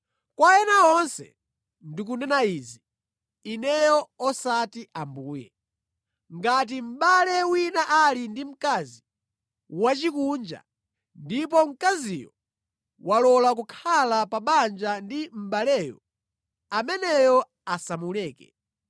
Kwa ena onse ndikunena izi (ineyo osati Ambuye); ngati mʼbale wina ali ndi mkazi wosakhulupirira ndipo mkaziyo walola kukhala pa banja ndi mʼbaleyo, ameneyo asamuleke.